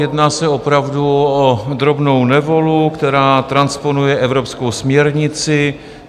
Jedná se opravdu o drobnou novelu, která transponuje evropskou směrnici.